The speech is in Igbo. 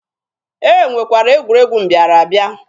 E nwekwara egwuregwu mbịara abịa.